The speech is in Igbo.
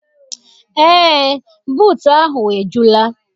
Eé, buutu ahụ ejula.